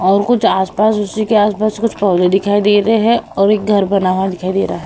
और कुछ आस-पास उसी के आस-पास कुछ पौधे दिखाई दे रहे हैं और एक घर बना हुआ दिखाई दे रहा है।